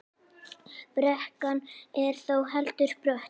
Brekkan er þó heldur brött.